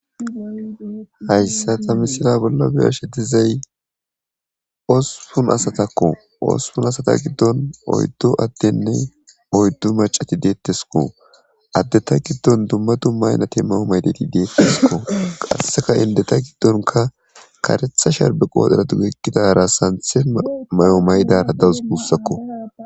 hayssa tammisila bolla beyashetizay oosupun asatakko oospun asata giddon oyddu addenne oyddu macati deettesko addeta giddon dumma du maynati mao maydeti deettesko qasseka indeta giddonka karetha sharbe qoodhera dugekidara santhe may7o maydara dawus guussakko